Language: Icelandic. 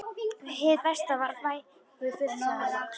Hið besta var kvæðið flutt, sagði hann loks.